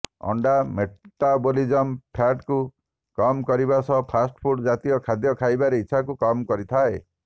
ଅଣ୍ଡା ମେଟାବୋଲିଜିମ ଫ୍ୟାଟକୁ କମ କରିବା ସହ ଫାଷ୍ଟ ଫୁଡ଼ ଜାତୀୟ ଖାଦ୍ୟ ଖାଇବାର ଇଚ୍ଛାକୁ କମ କରିଥାଏ